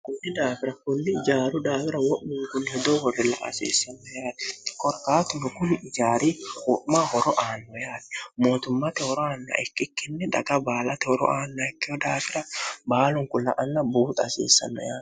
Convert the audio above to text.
kunni daafira kulli ijaaru daafira wo'mi kunni hedoo horilla asiissimno yaari korqaatunno kuni ijaari qu'ma horo aanno yaari mootummate horo aanna ikkikkinni daga baalate horo aanna ikkeh daafira baalun kula anna buuxa asiissanno yaane